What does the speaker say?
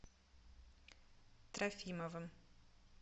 трофимовым